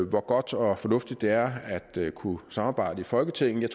hvor godt og fornuftigt det er at kunne samarbejde i folketinget jeg